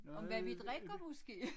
Om hvad vi drikker måske